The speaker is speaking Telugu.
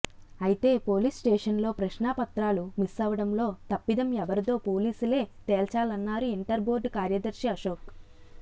అయితే పోలీస్స్టేషన్లో ప్రశ్నాపత్రాలు మిస్సవడంలో తప్పిదం ఎవరిదో పోలీసులే తేల్చాలన్నారు ఇంటర్ బోర్డు కార్యదర్శి అశోక్